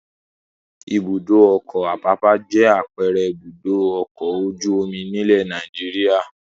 Ibùdó-ọkọ̀ Àpápá jẹ́ àpẹẹrẹ Ibùdó-ọkọ̀ ojú-omi nílẹ̀ Nàìjíríà.